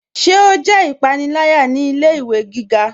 Ṣé o jẹ ipanilaya ni ilẹ̀-iwe gíga?